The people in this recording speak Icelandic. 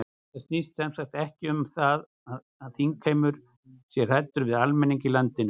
Þetta snýst sem sagt ekki um það að þingheimur sé hræddur við almenning í landinu?